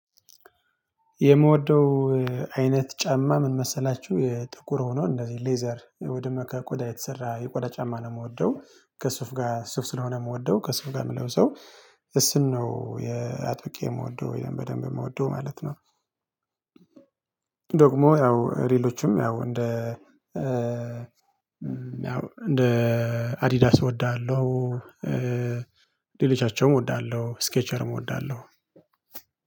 የምወደው አይነት ጫማ ምን መሰላችሁ? የጥቁር ሆኖ እንደዚህ ሌዘር ወይ ደሞ ከቆዳ የተሰራ የቆዳ ጫማ ነው የምወደው ከሱፍ ጋር ሱፍ ስለሆነ የምወደው ከሱፍ ጋር የምለው ሰው እሱን ነው የአጥብቄ የምወደው በደንብ የምወደው ማለት ነው። ደግሞ ያው ሌሎችም ያው እንደ ያው እንደ አዲዳስ እወድሃለሁ ሌሊቻቸውም እወዳለሁ ስኬቸርም እወዳለሁ።